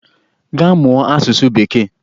Gaa mụọ asụsụ bekee!